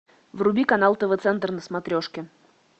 вруби канал тв центр на смотрешке